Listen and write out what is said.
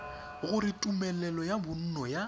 gore tumelelo ya bonno ya